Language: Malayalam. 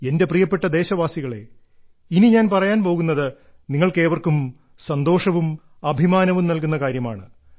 എന്റെ പ്രിയപ്പെട്ട ദേശവാസികളേ ഇനി ഞാൻ പറയാൻ പോകുന്നത് നിങ്ങൾക്കേവർക്കും സന്തോഷവും അഭിമാനവും നൽകുന്ന കാര്യമാണ്